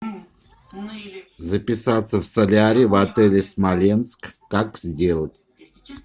записаться в солярий в отеле смоленск как сделать